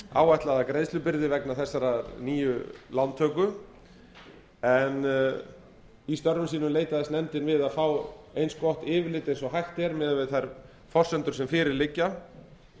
áætlaða greiðslubyrði vegna þessarar nýju lántöku en í störfum sínum leitaðist nefndin við að fá eins gott yfirlit og hægt er miðað við þær forsendur sem fyrir liggja